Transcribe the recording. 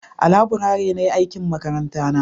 a laburare na yi aikin makaranta na